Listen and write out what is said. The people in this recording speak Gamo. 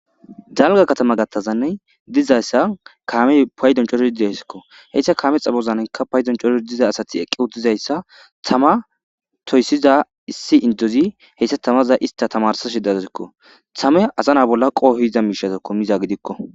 Dalgga katama gattazane de'iza kaamee paydon coridi de'osona. He ishshaka kaame eza bozan kaame'ey paydon coridi de'aza asati eqqida de'isakka tama toyssiza issi indeti he'ishsha tamaza isstata tamarssishsha de'osona. Tama asana bolla qohiza mishatako miza gidikko.